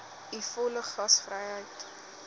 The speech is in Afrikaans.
u volle gasvryheid